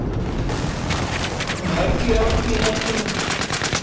Mörg járn í eldinum